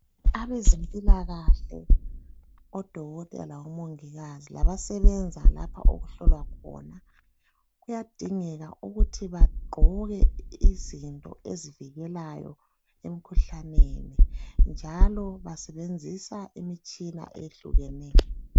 Abezempilakahke odokotela labomongikazi labasebenza lapho okuhlolwa khona kuyadingeka ukuthi bagqoke izinto ezivikelayo emkhuhlaneni njalo basebenzisa imitshina eyehlukeneyo.